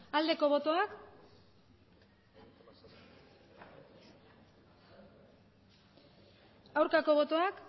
aldeko botoak aurkako botoak